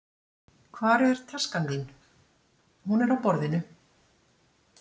Hvar er taskan þín. Hún er á borðinu